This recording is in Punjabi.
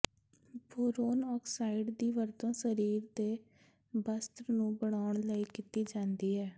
ਬੋਰੌਨ ਆਕਸਾਈਡ ਦੀ ਵਰਤੋਂ ਸਰੀਰ ਦੇ ਬਸਤ੍ਰ ਨੂੰ ਬਣਾਉਣ ਲਈ ਕੀਤੀ ਜਾਂਦੀ ਹੈ